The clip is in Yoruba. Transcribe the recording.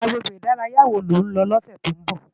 Agbégbé idàráyá wó ló n lò lòsè tó n bò?